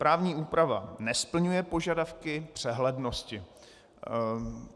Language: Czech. Právní úprava nesplňuje požadavky přehlednosti.